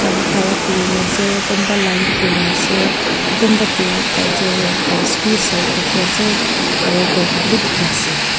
khan khara kori kina ase kunba line kori kina ase kunba tu cultural dress bhi sai thaki ase aru gour khan bhi dekhi ase.